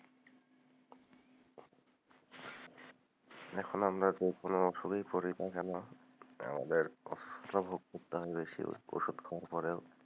এখন আপনাদের কোনো ওষুধই পরে থাকে না, , কষ্ট ভোগ করতে হয় বেশি ওষুধ খবর পরেও,